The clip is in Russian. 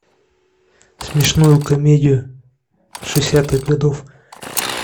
смешную комедию шестидесятых годов